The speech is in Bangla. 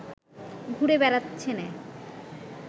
ঘুরে বেড়াচ্ছেনে